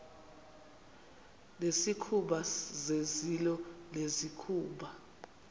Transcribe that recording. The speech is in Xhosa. nezikhumba zezilo nezikhumba